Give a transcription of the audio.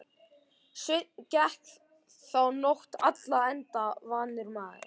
Sveinn gekk þá nótt alla enda vanur maður.